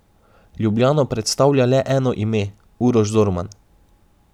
Ljubljano predstavlja le eno ime, Uroš Zorman.